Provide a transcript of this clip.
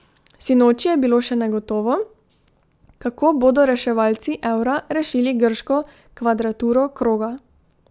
Sinoči je bilo še negotovo, kako bodo reševalci evra rešili grško kvadraturo kroga.